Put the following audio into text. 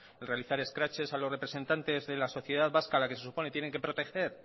realizar escraches a los representantes de la sociedad vasca a la que se supone tienen que proteger